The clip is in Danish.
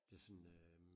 Det sådan øh